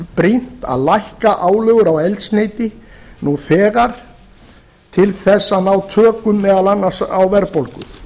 brýnt að lækka álögur á eldsneyti nú þegar til þess að ná tökum meðal annars á verðbólgu